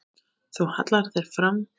Þú hallar þér fram.